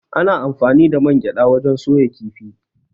Ana anfani da man gyaɗa wajen soya kifi.